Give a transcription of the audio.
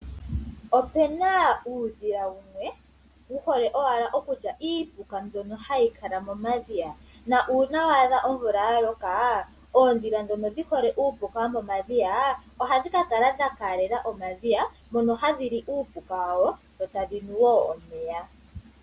Opena uudhila wumwe wuhole owala okulya iipula mbyono hayi kala momadhiya, na uuna waadha omvula yaloka, oondhila ndhono dhihole uupuka womomadhiya ohadhi ka kala dhakalela omadhiya mono hadhi li uupuka wadho dho tadhinu wo omeya.